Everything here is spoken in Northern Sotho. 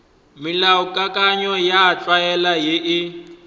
melaokakanywa ya tlwaelo ye e